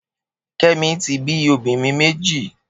Kemi ti bi óbìrín méji